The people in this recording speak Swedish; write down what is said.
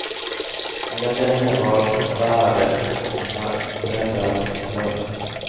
Mina vänner var förfärade och mina föräldrar upprörda.